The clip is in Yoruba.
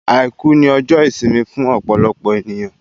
Àìkú ni ọjọ́ ìsinmi fún ọ̀pọ̀lọpọ̀ èniyàn